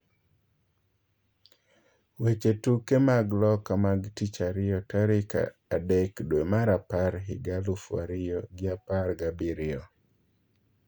Weche tuke mag Loka mag tich ariyo tarik adek dwee mar apar higa alufu ariyo gi apar gabirio